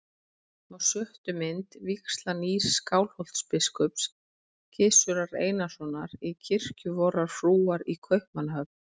Á sjöttu mynd: vígsla nýs Skálholtsbiskups, Gizurar Einarssonar, í kirkju vorrar frúar í Kaupmannahöfn.